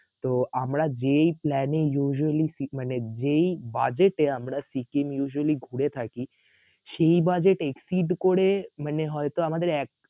তো আমরা যেই plan এ usually সি~মানে যেই budget এ আমরা সিকিম usually ঘুরে থাকি সেই budget exceed করে মানে হইত আমাদের এক